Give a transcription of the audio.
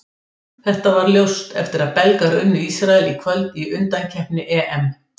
Þetta varð ljóst eftir að Belgar unnu Ísrael í kvöld í undankeppni EM.